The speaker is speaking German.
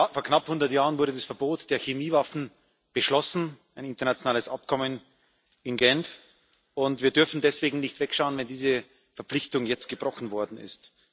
Vor knapp hundert Jahren wurde das Verbot der Chemiewaffen beschlossen ein internationales Übereinkommen in Genf und wir dürfen deswegen nicht wegschauen, wenn diese Verpflichtung jetzt gebrochen worden ist.